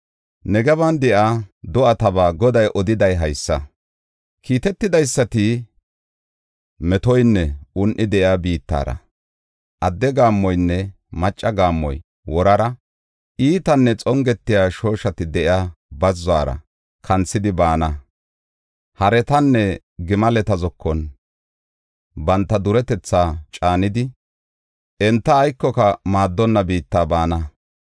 Negeban de7iya do7ataba Goday odiday haysa: kiitetidaysati metoynne un7i de7iya biittara, adde gaammoynne macca gaammoy worara, iitanne xongetiya shooshati de7iya bazzuwara kanthidi baana. Haretanne gimaleta zokon banta duretetha caanidi enta aykoka maaddonna biitta baana.